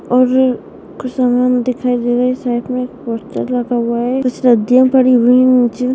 और कुछ सामान दिखाई दे रहे है साइड मे एक पोस्टर लगा हुआ है कुछ रद्दियाँ पड़ी हुई नीचे।